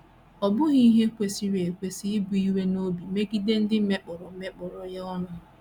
Ọ́ bụghị ihe kwesịrị ekwesị ibu iwe n’obi megide ndị mekpọrọ mekpọrọ ya ọnụ?